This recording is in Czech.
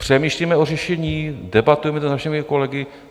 Přemýšlíme o řešení, debatujeme to s našimi kolegy.